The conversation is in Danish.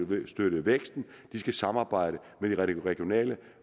væksten de skal samarbejde med de regionale